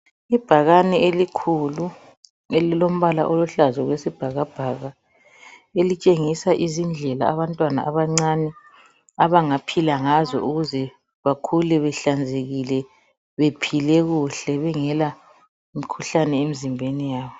Ibhakane elikhulu elilombala oluhlaza okwesibhakabhaka elitshengisa izindlela abantwana abancane abangaphila ngazo ukuze bakhule behlanzekile bephile kuhle bengela mkhuhlane emzimbeni yabo.